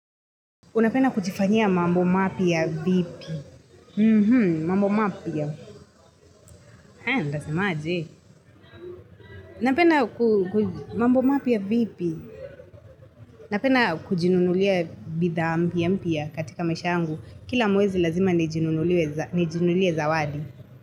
Unapenda kujifanyia mambo mapi ya vipi? Mhmm, mambo mapi ya Ha, ndasemaje. Napenda kujinunulia bidhaa mpya mpya katika maisha yangu. Kila mwezi lazima nijinunulie zawadi.